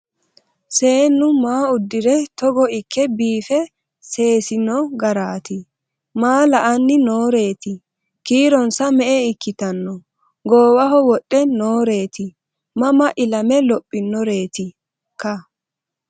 Seennu maa udirre Togo ikke biiffe seesinno garaatti? Maa la'anni nooreetti? Kiironsa me'e ikkanno? Goowaho wodhe nooreetti? Mama ilame lophinoreettika?